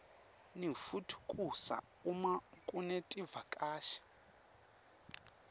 ningitfukusa uma kunetivakashi